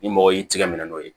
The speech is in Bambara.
Ni mɔgɔ y'i tigɛ minɛ n'o ye